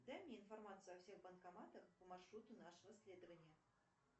дай мне информацию о всех банкоматах по маршруту нашего следования